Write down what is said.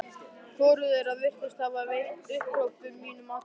Hvorugt þeirra virðist hafa veitt upphrópunum mínum athygli.